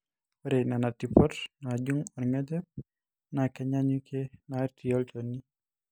ore nena tipot naajung orngejep naa kenyaanyukie natii olchoni